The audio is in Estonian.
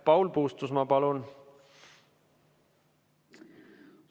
Paul Puustusmaa, palun!